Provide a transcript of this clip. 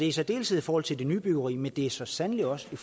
i særdeleshed i forhold til nybyggeri men det er så sandelig også i